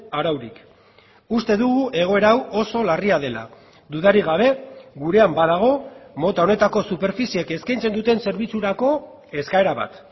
araurik uste dugu egoera hau oso larria dela dudarik gabe gurean badago mota honetako superfiziek eskaintzen duten zerbitzurako eskaera bat